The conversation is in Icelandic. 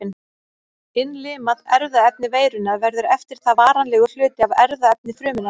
Innlimað erfðaefni veirunnar verður eftir það varanlegur hluti af erfðaefni frumunnar.